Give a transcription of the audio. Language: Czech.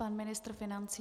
Pan ministr financí.